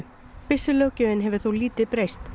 byssulöggjöfin hefur þó lítið breyst